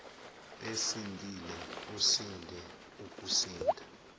esindile usinde ukusinda